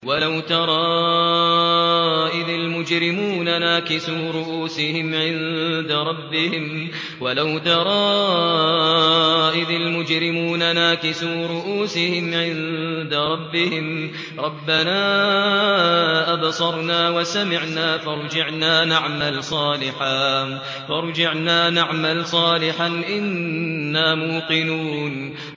وَلَوْ تَرَىٰ إِذِ الْمُجْرِمُونَ نَاكِسُو رُءُوسِهِمْ عِندَ رَبِّهِمْ رَبَّنَا أَبْصَرْنَا وَسَمِعْنَا فَارْجِعْنَا نَعْمَلْ صَالِحًا إِنَّا مُوقِنُونَ